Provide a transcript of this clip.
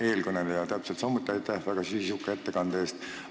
Eelkõnelejale täpselt samuti aitäh väga sisuka ettekande eest!